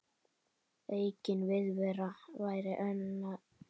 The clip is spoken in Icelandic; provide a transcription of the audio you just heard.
Aukin viðvera væri annað mál.